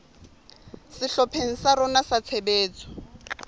sehlopheng sa rona sa tshebetso